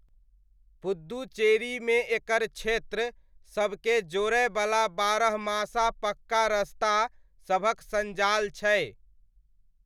पुद्दुचेरीमे एकर क्षेत्र सबके जोड़यवला बारहमासा पक्का रस्ता सभक सञ्जाल छै।